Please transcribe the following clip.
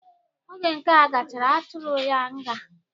Oge nkea gachara, atụrụ ya nga.